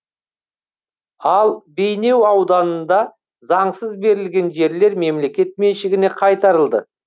ал бейнеу ауданында заңсыз берілген жерлер мемлекет меншігіне қайтарылды